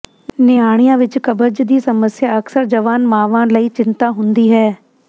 ਨਿਆਣਿਆਂ ਵਿੱਚ ਕਬਜ਼ ਦੀ ਸਮੱਸਿਆ ਅਕਸਰ ਜਵਾਨ ਮਾਵਾਂ ਲਈ ਚਿੰਤਾ ਹੁੰਦੀ ਹੈ